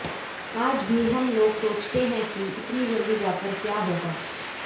आज भी हम लोग सोचते हैं कि इतनी जल्दी जाकर क्या होगा